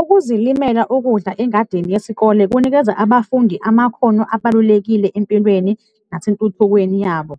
Ukuzilimela ukudla engadini yesikole kunikeza abafundi amakhono abalulekile empilweni nasentuthukweni yabo.